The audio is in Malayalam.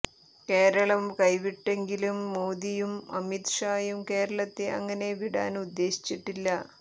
കേരളം കൈവിട്ടുവെങ്കിലും മോദിയും അമിത് ഷായും കേരളത്തെ അങ്ങനെ വിടാന് ഉദ്ദേശിച്ചിട്ടില്ല